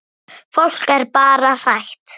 Fólk er bara hrætt.